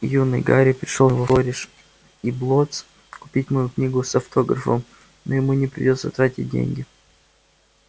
юный гарри пришёл сегодня во флориш и блоттс купить мою книгу с автографом но ему не придётся тратить деньги